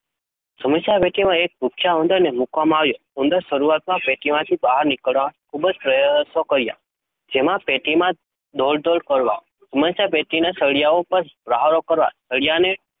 સમસ્યાપેટીમાં એક ભૂખ્યા ઉંદરને મૂકવામાં આવ્યો. ઉંદરે શરૂઆતમાં પેટીમાંથી બહાર નીકળવાના ખૂબ જ પ્રયાસો કર્યા. જેમાં પેટીમાં દોડાદોડ કરવી, સમસ્યાપેટીના સળિયાઓ પર પ્રહારો કરવા, સળિયાને